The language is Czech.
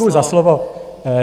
Děkuji za slovo.